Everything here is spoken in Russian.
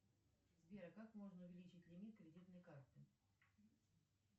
сбер как можно увеличить лимит кредитной карты